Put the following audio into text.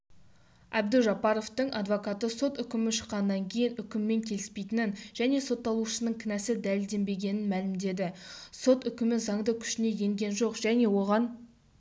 әбдужаппаровтың адвокаты сот үкімі шыққаннан кейін үкіммен келіспейтінін және сотталушының кінәсі дәледенбегенін мәлімдеді сот үкімі заңды күшіне енген жоқ және оған